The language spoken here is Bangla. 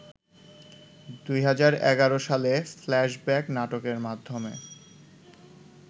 ২০১১ সালে ‘ফ্ল্যাশব্যাক’ নাটকের মাধ্যমে